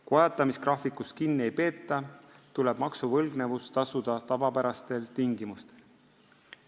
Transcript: Kui ajatamisgraafikust kinni ei peeta, tuleb maksuvõlgnevus tasuda tavapärastel tingimustel.